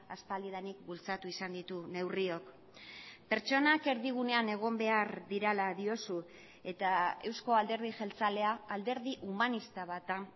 aspaldidanik bultzatu izan ditu neurriok pertsonak erdigunean egon behar direla diozu eta eusko alderdi jeltzalea alderdi humanista bat da